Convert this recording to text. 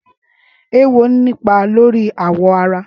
Éwó ni ipà lóri àwọ̀ árá